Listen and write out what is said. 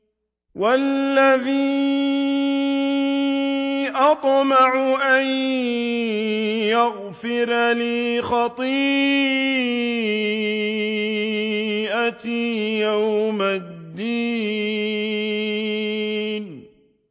وَالَّذِي أَطْمَعُ أَن يَغْفِرَ لِي خَطِيئَتِي يَوْمَ الدِّينِ